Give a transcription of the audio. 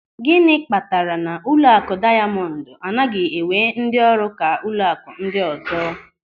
Gịnị kpatara na ụlọakụ Dayamọndụ anaghị ewee ndị ọrụ ka ụlọakụ ndị ọzọ.